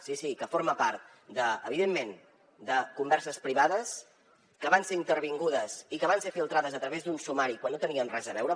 sí sí que forma part evidentment de converses privades que van ser intervingudes i que van ser filtrades a través d’un sumari quan no hi tenien res a veure